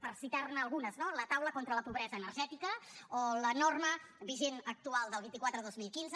per citarne algunes no la taula sobre la pobresa energètica o la norma vigent actual del vint quatre dos mil quinze